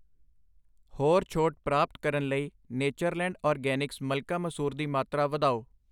ਹੋਰ ਛੋਟ ਪ੍ਰਾਪਤ ਕਰਨ ਲਈ ਨੇਚਰਲੈਂਡ ਆਰਗੈਨਿਕਸ ਮਲਕਾ ਮਸੂਰ ਦੀ ਮਾਤਰਾ ਵਧਾਓ